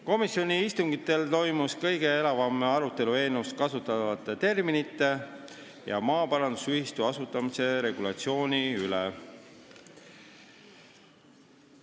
Komisjoni istungitel toimus kõige elavam arutelu eelnõus kasutatavate terminite ja maaparandusühistu asutamise regulatsiooni üle.